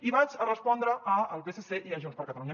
i vaig a respondre al psc i a junts per catalunya